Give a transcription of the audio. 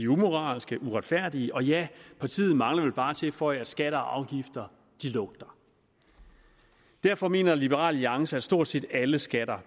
umoralske uretfærdige og ja partiet mangler vel bare at tilføje at skatter og afgifter lugter derfor mener liberal alliance at stort set alle skatter